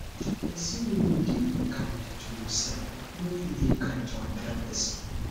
persin wey no de kind to imself no fit de kind to another persin